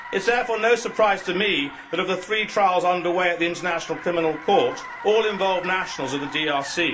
It is therefore no surprise to me that, of the three trials under way at the International Criminal Court, all involve nationals of the DRC.